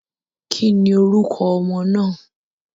Ki ni orúko ọmọ náà.